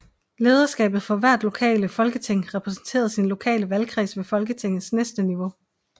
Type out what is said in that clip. Lederskabet for hvert lokale folketing repræsenterede sin lokale valgkreds ved Folketingets næste niveau